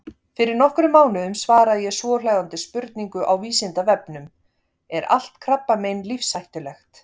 Fyrir nokkrum mánuðum svaraði ég svohljóðandi spurningu á Vísindavefnum: Er allt krabbamein lífshættulegt?.